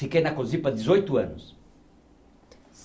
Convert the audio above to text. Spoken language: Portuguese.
Fiquei na Cosipa dezoito anos.